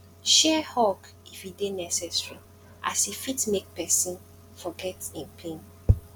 share hug if e dey necesary as e fit mek pesin forget em pain